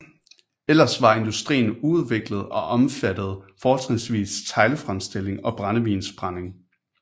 Ellers var industrien uudviklet og omfattede fortrinsvis teglfremstilling og brændevinsbrænding